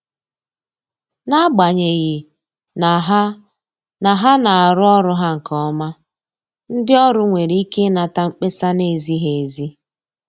N’agbanyeghị na ha na ha na arụ ọrụ ha nke ọma, ndị ọrụ nwere ike inata mkpesa na-ezighi ezi.